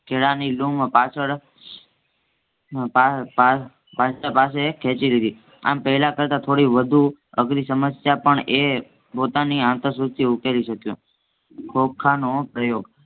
કેળાની લૂમ પાછળ પાંજરા પાસે ખેંચી લીધી આમ પેહલા કરતા થોડી વધુ અધરી સમસ્યા પણ એ પોતાની આંતરસૂઝ થી ઉકેલી શક્યો. ખોખાનો પ્રયોગ